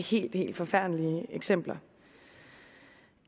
helt helt forfærdelige eksempler